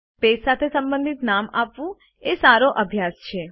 page સાથે સંબંધિત નામ આપવું એ સો અભ્યાસ છે